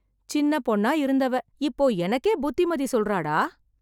சின்னப் பொண்ணா இருந்தவ, இப்போ எனக்கே புத்திமதி சொல்றாடா...